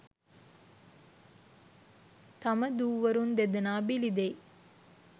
තම දූවරුන් දෙදෙනා බිලි දෙයි